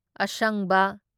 ꯑꯁꯪꯕ